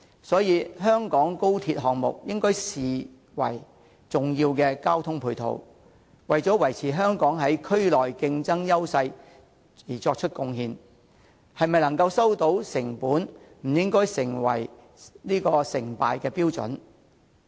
所以，香港高鐵項目應視為重要的交通配套，為維持香港在區內的競爭優勢作出貢獻，能否收回成本則不應該視為成敗標準。